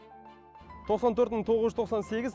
тоқсан төрт мың тоғыз жүз тоқсан сегіз